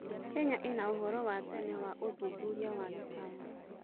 Kenya ĩna ũhoro wa tene wa ũthuthuria wa gĩcayanci.